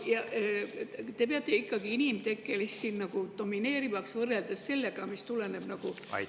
Kas te peate ikkagi inimtekkelist domineerivaks, võrreldes sellega, mis tuleneb loodusest?